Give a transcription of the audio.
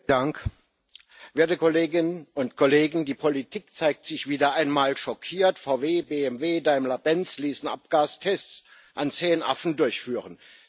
Herr Präsident, werte Kolleginnen und Kollegen! Die Politik zeigt sich wieder einmal schockiert VW, BMW, Daimler Benz ließen Abgastests an zehn Affen durchführen.